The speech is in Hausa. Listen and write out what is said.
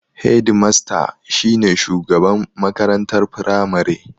Hedimasta shi ne shugaban makarantar Firamare.